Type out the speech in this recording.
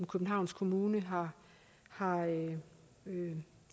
københavns kommune har har